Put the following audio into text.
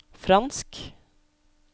fransk